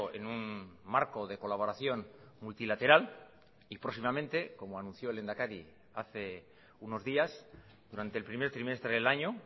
en un marco de colaboración multilateral y próximamente como anunció el lehendakari hace unos días durante el primer trimestre del año